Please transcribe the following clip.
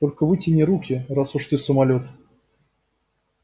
только вытяни руки раз уж ты самолёт